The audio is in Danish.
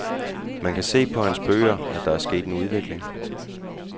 Man kan se på hans bøger, at der er sket en udvikling.